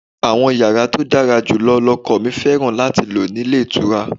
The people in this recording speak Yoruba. Àwọn yàrá tó dára jù lọ lọkọ mi fẹ́ràn láti lò nílé ìtura.